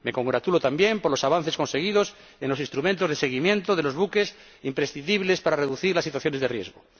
Me congratulo también por los avances conseguidos en los instrumentos de seguimiento de los buques, imprescindibles para reducir las situaciones de riesgo.